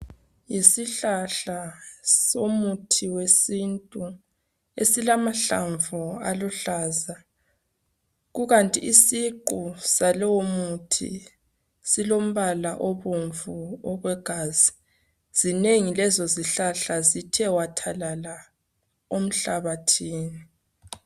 Yisihlahla somuthi wesintu esilamahlamvu aluhlaza. Kukanti isiqu salowomuthi silombala obomvu wegazi. Zinengi lezozihlahla zithe wathalala enhlabathini.